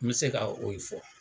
N bɛ se k'a o ye fɔ.